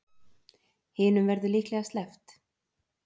Hinum verður líklega sleppt.